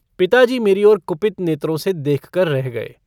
पिताजी मेरी ओर कुपित नेत्रों से देखकर रह गए।